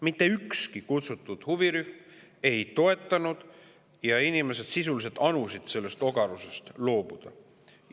Mitte ükski kutsutud huvirühma ei toetanud seda ja inimesed sisuliselt anusid, et sellest ogarusest loobutaks.